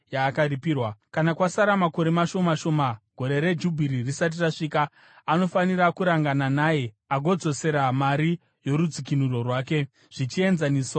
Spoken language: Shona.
Kana kwasara makore mashoma shoma Gore reJubhiri risati rasvika, anofanira kurangana naye agodzosera mari yorudzikinuro rwake zvichienzaniswa namakore ake.